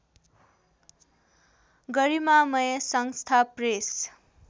गरिमामय संस्था प्रेस